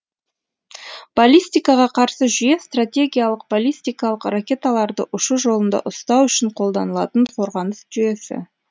баллистикаға қарсы жүйе стратегиялық баллистикалық ракеталарды ұшу жолында ұстау үшін қолданылатын қорғаныс жүйесі